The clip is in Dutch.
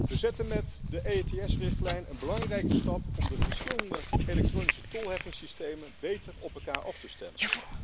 We zetten met de EETS-richtlijn een belangrijke stap om de verschillende elektronische tolheffingssystemen beter op elkaar af te stemmen.